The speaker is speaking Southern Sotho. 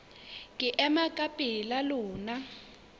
ke ema ka pela lona